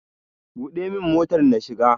Buɗe min motar na shiga!